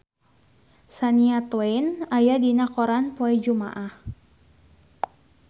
Shania Twain aya dina koran poe Jumaah